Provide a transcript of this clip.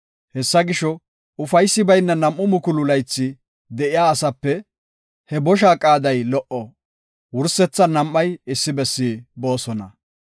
Hessa gisho, ufaysi bayna nam7u mukulu laythi de7iya asape he bosha qaaday lo77o. Wursethan nam7ay issi bessi boosona.